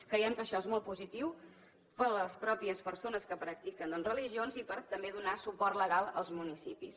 creiem que això és molt positiu per a les pròpies persones que practiquen doncs religions i per també donar suport legal als municipis